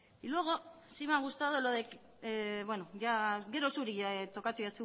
gorospe